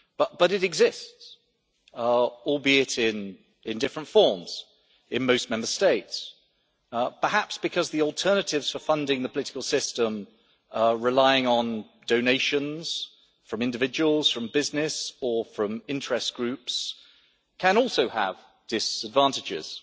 But it exists, albeit in different forms in most Member States, perhaps because the alternatives for funding the political system relying on donations from individuals, from business or from interest groups can also have disadvantages.